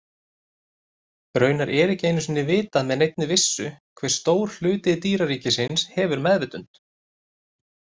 Raunar er ekki einu sinni vitað með neinni vissu hve stór hluti dýraríkisins hefur meðvitund.